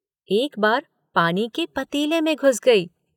एक बार पानी के पतीले में घुस गई।